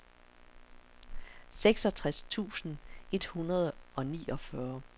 seksogtres tusind et hundrede og niogfyrre